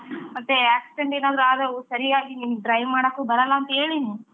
ಮತ್ತೆ accident ಏನಾದ್ರೂ ಆದ್ರೆ ಸರಿಯಾಗಿ ನಿಂಗ್ drive ಮಾಡಕ್ಕೂ ಬರಲ್ಲಾ ಅಂತ ಹೇಳೀನಿ,